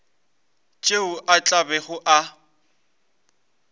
tšeo a tla bego a